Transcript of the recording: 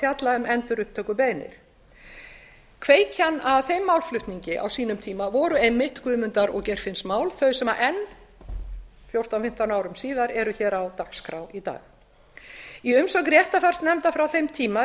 fjalla um endurupptökubeiðnir kveikjan að þeim málflutningi á sínum tíma var einmitt guðmundar og geirfinnsmál þau sem enn fjórtán eða fimmtán árum síðar eru hér á dagskrá í dag í umsögn réttarfarsnefndar frá þeim tíma